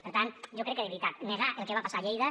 per tant jo crec que de veritat negar el que va passar a lleida